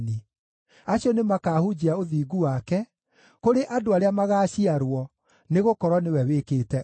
Acio nĩmakahunjia ũthingu wake kũrĩ andũ arĩa magaaciarwo, nĩgũkorwo nĩwe wĩkĩte ũguo.